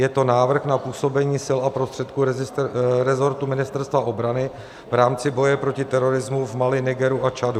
Je to Návrh na působení sil a prostředků rezortu Ministerstva obrany v rámci boje proti terorismu v Mali, Nigeru a Čadu.